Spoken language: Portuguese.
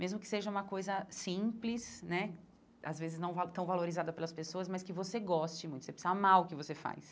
Mesmo que seja uma coisa simples né, às vezes não tão valorizada pelas pessoas, mas que você goste muito, você precisa amar o que você faz.